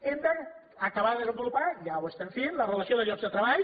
hem d’acabar de desenvolupar ja ho estem fent la relació de llocs de treball